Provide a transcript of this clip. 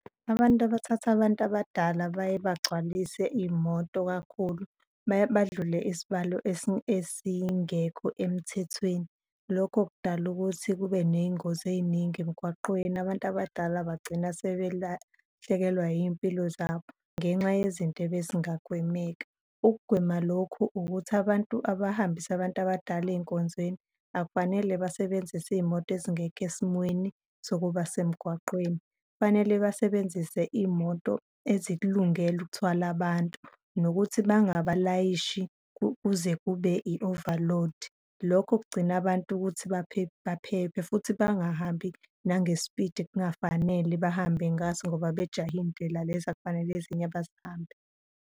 Abantu abathatha abantu abadala baye bagcwalise iy'moto kakhulu, badlule isibalo esingekho emthethweni. Lokho kudala ukuthi kube ney'ngozi ey'ningi emgwaqweni. Abantu abadala bagcina sebelahlekelwe iy'mpilo zabo ngenxa yezinto ebezingagwemeka. Ukugwema lokhu ukuthi abantu abahambisa abantu abadala ey'nkonzweni akufanele basebenzise iy'moto ezingekho esimweni sokuba semgwaqeni, kufanele basebenzise iy'moto ezikulungele ukuthwala abantu nokuthi bangabalayisha kuze kube i-overload. Lokho kugcina abantu ukuthi baphephe futhi bangahambi nange-speed ekungafanele bahambe ngaso ngoba bejahe iy'ndlela lezi akufanele ezinye bazihambe.